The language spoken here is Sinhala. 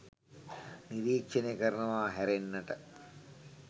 නිරීක්ෂණය කරනවා හැරෙන්නට